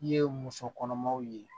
I ye muso kɔnɔmaw ye